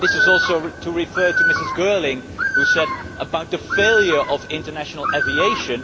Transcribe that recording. Maybe this also refers to Mrs Girling, who talked about the failure of international aviation.